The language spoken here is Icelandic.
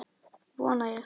Vona ég.